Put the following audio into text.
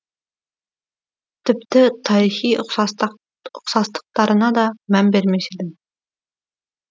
тіпті тарихи ұқсастықтарына да мән бермес едім